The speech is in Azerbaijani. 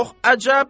Çox əcəb.